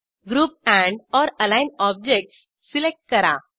group andओर align objects select करा